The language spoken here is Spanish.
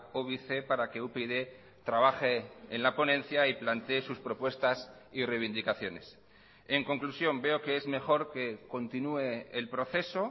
óbice para que upyd trabaje en la ponencia y plantee sus propuestas y reivindicaciones en conclusión veo que es mejor que continúe el proceso